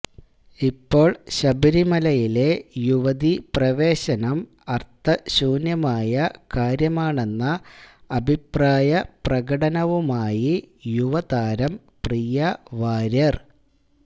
ഇപ്പോൾ ശബരിമലയിലെ യുവതി പ്രവേശനം അര്ത്ഥശൂന്യമായ കാര്യമാണെന്ന അഭിപ്രായ പ്രകടനവുമായി യുവതാരം പ്രിയ വാര്യര്